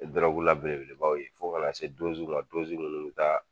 Dɔrɔguw la belebelebaw ye fo kana se ma munnu be taa